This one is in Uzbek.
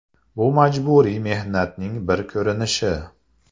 Bu majburiy mehnatning bir ko‘rinishi.